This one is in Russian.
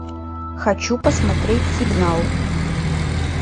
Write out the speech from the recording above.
хочу посмотреть сигнал